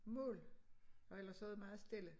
Mål og ellers så det meget stille